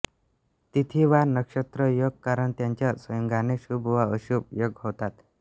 तिथी वार नक्षत्र योग करण यांच्या संयोगाने शुभ व अशुभ योग होतात